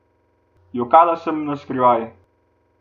Jokala sem naskrivaj.